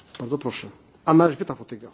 Dziękuję Panie Przewodniczący!